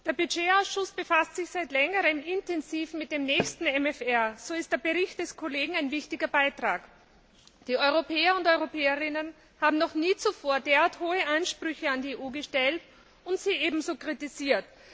Der Haushaltsausschuss befasst sich seit Längerem intensiv mit dem nächsten MFR, so ist der Bericht des Kollegen ein wichtiger Beitrag. Die Europäer und Europäerinnen haben noch nie zuvor derart hohe Ansprüche an die EU gestellt und sie ebenso kritisiert.